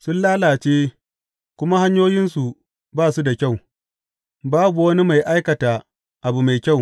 Sun lalace, kuma hanyoyinsu ba su da kyau; babu wani mai aikata abu mai kyau.